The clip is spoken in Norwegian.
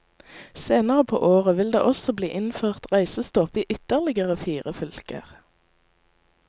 Senere på året vil det også bli innført reisestopp i ytterligere fire fylker.